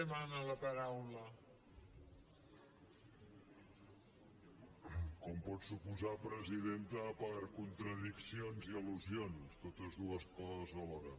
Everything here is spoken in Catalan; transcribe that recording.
com pot suposar presidenta per contradiccions i al·lusions totes dues coses alhora